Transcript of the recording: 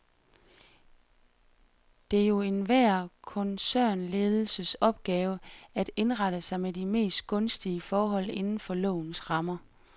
Det er jo enhver koncernledelses opgave at indrette sig med de mest gunstige forhold inden for lovens rammer.